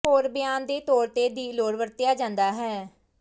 ਹੋਰ ਬਿਆਨ ਦੇ ਤੌਰ ਤੇ ਦੀ ਲੋੜ ਵਰਤਿਆ ਜਾਦਾ ਹੈ